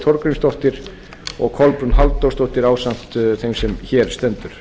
þorgrímsdóttir og kolbrún halldórsdóttir ásamt þeim sem hér stendur